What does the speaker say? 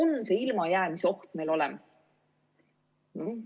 Kas see ilmajäämise oht on meil olemas?